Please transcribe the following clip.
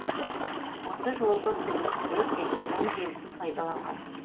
осы жолғы күдіктілер телеграмм желісін пайдаланған